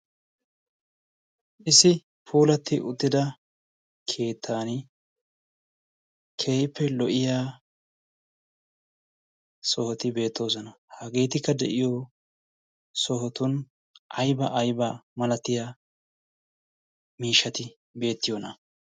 issi puulatti uttida keettan keeippe lo'iya sohoti beettoosona hageetikka de'iyo sohotun aiba aybaa malatiya miishati beettiyoona?